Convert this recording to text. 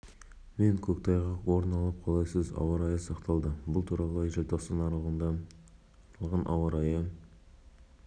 қазақстан аумағы арқылы үлкен жылдамдықпен атмосфералық фронттар жылжып жатыр сондықтан елімізде жауын-шашын бұрқасын қатты жел тұман